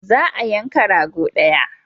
Za a yanka rago daya.